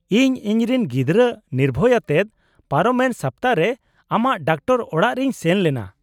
-ᱤᱧ ᱤᱧᱨᱮᱱ ᱜᱤᱫᱽᱨᱟᱹ ᱱᱤᱨᱵᱷᱚᱭ ᱟᱛᱮᱫ ᱯᱟᱨᱚᱢᱮᱱ ᱥᱟᱯᱛᱟ ᱨᱮ ᱟᱢᱟᱜ ᱰᱟᱠᱛᱟᱨ ᱚᱲᱟᱜ ᱨᱮᱧ ᱥᱮᱱᱞᱮᱱᱟ ᱾